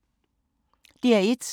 DR1